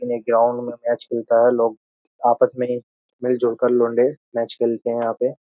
ने ग्राउंड में मैच खेलता है लोग आपस में मिलजुलकर लौंडे मैच खेलते हैं यहां पे --